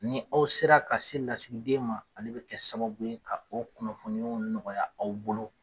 Ni aw sera ka se lasigiden ma, ale bɛ kɛ sababu ka o kunnafoni ɲumanw nɔgɔya aw bolo